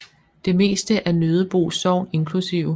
Det meste af Nødebo Sogn inkl